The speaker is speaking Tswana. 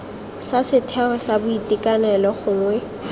sa setheo sa boitekanelo gongwe